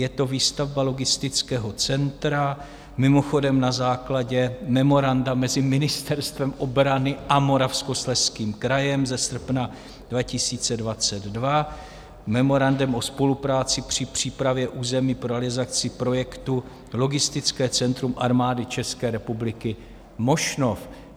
Je to výstavba logistického centra, mimochodem na základě memoranda mezi Ministerstvem obrany a Moravskoslezským krajem ze srpna 2022, memorandem o spolupráci při přípravě území pro realizaci projektu logistické centrum Armády České republiky Mošnov.